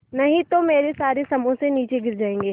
नहीं तो मेरे सारे समोसे नीचे गिर जायेंगे